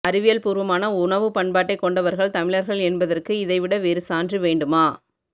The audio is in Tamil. அறிவியல் பூர்வமான உணவுப் பண்பாட்டைக் கொண்டவர்கள் தமிழர்கள் என்பதற்க்கு இதை விட வேறு சான்று வேண்டுமா